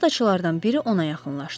şaxtaçılardan biri ona yaxınlaşdı.